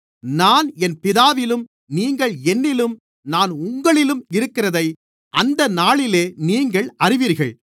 நான் என் பிதாவிலும் நீங்கள் என்னிலும் நான் உங்களிலும் இருக்கிறதை அந்த நாளிலே நீங்கள் அறிவீர்கள்